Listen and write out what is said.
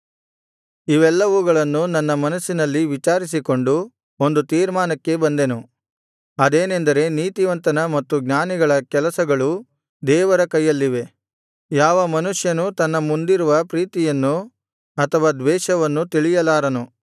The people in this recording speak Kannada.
ಇವೆಲ್ಲವುಗಳನ್ನು ನನ್ನ ಮನಸ್ಸಿನಲ್ಲಿ ವಿಚಾರಿಸಿಕೊಂಡು ಒಂದು ತೀರ್ಮಾನಕ್ಕೆ ಬಂದೆನು ಅದೇನೆಂದರೆ ನೀತಿವಂತನ ಮತ್ತು ಜ್ಞಾನಿಗಳ ಕೆಲಸಗಳು ದೇವರ ಕೈಯಲ್ಲಿವೆ ಯಾವ ಮನುಷ್ಯನೂ ತನ್ನ ಮುಂದಿರುವ ಪ್ರೀತಿಯನ್ನು ಅಥವಾ ದ್ವೇಷವನ್ನು ತಿಳಿಯಲಾರನು